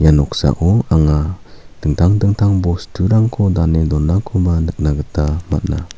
ia noksao anga dingtang dingtang bosturangko dane donakoba nikna gita man·a.